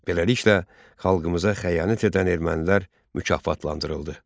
Beləliklə, xalqımıza xəyanət edən ermənilər mükafatlandırıldı.